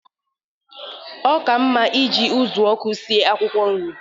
Óka mma iji ụzụọkụ sie akwụkwọ nri